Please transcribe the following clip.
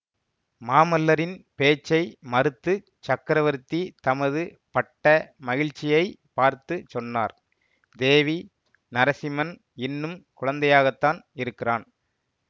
மாமல்லரின் பேச்சை மறுத்துச் சக்கரவர்த்தி தமது பட்ட மகிழ்ச்சியை பார்த்து சொன்னார் தேவி நரசிம்மன் இன்னும் குழந்தையாகத்தான் இருக்கிறான்